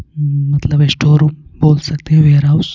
हम्म मतलब एक store room बोल सकते है वेयर हाउस --